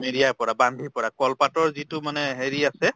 মেৰিয়াই পৰা বান্ধি পৰা কল পাতৰ যিটো মানে হেৰি আছে